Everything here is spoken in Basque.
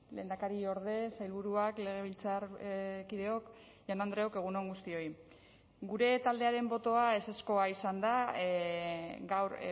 lehendakariorde sailburuak legebiltzarkideok jaun andreok egun on guztioi gure taldearen botoa ezezkoa izan da gaur